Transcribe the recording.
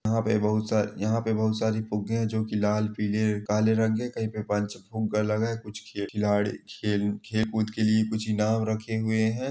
यहाँ पे बहुत सारे यहाँ पे बहुत सारे फुग्गे है जो की लाल पीले है कही पे पाँच फुग्गा लगा है कही पे खिलाड़ी खेल कूद के लिए कुछ इनाम रखे हुए हैं।